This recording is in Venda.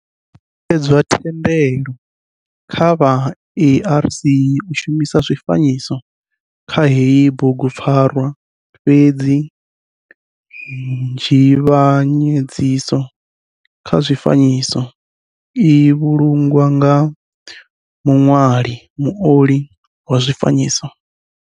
Thendelo kha vha ARC u shumisa zwifanyiso kha heyi bugupfarwa fhedzi dzhivhanyedziso kha zwifanyiso i vhulungwa nga muṋwali muoli wa zwifanyiso.